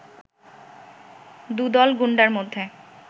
দুদল গুন্ডার মধ্যে